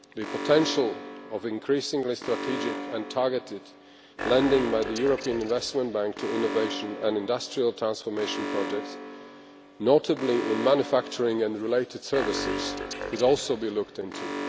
The potential of increasingly strategic and targeted lending by the European Investment Bank to innovation and industrial transformation projects, notably in manufacturing and related services, could also be looked into.